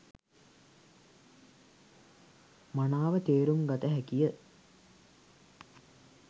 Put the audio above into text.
මනාව තේරුම් කර ගත හැකි ය.